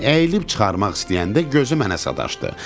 Əyilib çıxarmaq istəyəndə gözü mənə sataşdı.